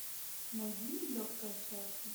найди нелегкое счастье